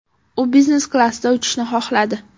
U biznes klassda uchishni xohladi.